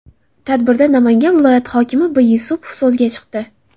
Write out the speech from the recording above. Tadbirda Namangan viloyati hokimi B. Yusupov so‘zga chiqdi.